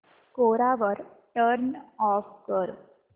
कोरा turn off कर